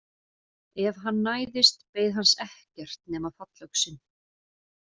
Ef hann næðist beið hans ekkert nema fallöxin.